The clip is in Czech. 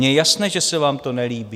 Mně je jasné, že se vám to nelíbí.